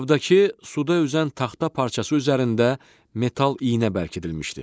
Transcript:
Qabdakı suda üzən taxta parçası üzərində metal iynə bərkidilmişdi.